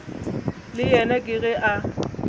le yena ke ge a